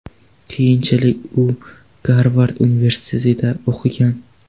Keyinchalik u Garvard universitetida o‘qigan.